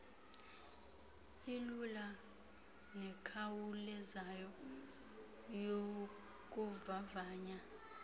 ilula nekhawulezayo yokuvavanya